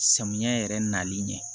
Samiyɛ yɛrɛ nali ɲɛ